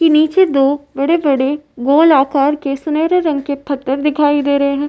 के नीचे दो बड़े-बड़े गोल आकार के सुनहरे रंग के फत्तर दिखाई दे रहे हैं।